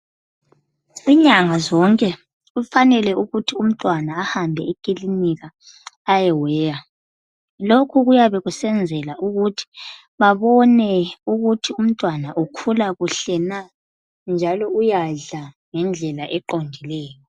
Inyanga zonke kufanele ukuthi umntwana ahambe ekilinika ayeweya. Lokhu kuyabe kusenzela ukuthi babone ukuthi umntwana ukhula kuhle na njalo uyadla ngendlela eqondileyo.